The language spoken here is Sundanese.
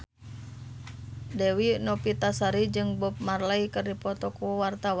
Dewi Novitasari jeung Bob Marley keur dipoto ku wartawan